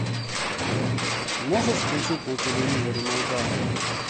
можешь включить на телевизоре майдан